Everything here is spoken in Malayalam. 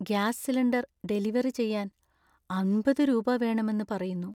ഗ്യാസ് സിലിണ്ടർ ഡെലിവറി ചെയ്യാൻ അമ്പത് രൂപ വേണമെന്ന് പറയുന്നു.